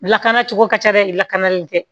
Lakana cogo ka ca dɛ lakanalen tɛ